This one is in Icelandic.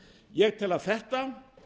ég tel að þetta